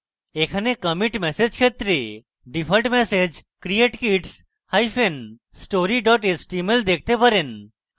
এখানে commit message ক্ষেত্রে default message create kidsstory html দেখতে পারেন